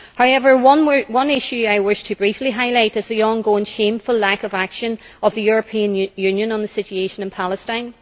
However, one issue I wish to briefly highlight is the ongoing shameful lack of action of the European Union on the situation in Palestine.